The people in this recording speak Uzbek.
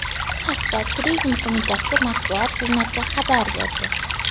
Bu haqda Turizm qo‘mitasi matbuot xizmati xabar berdi.